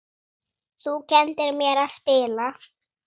Þú kenndir mér að spila.